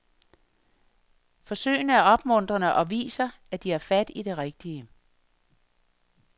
Forsøgene er opmuntrende og viser, at de har fat i det rigtige.